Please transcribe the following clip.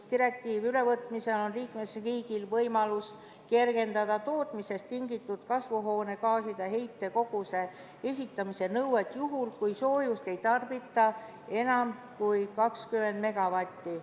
Direktiivi ülevõtmisel on liikmesriigil võimalus kergendada tootmisest tingitud kasvuhoonegaaside heite koguse esitamise nõuet juhul, kui soojust ei tarbita enam kui 20 megavatti.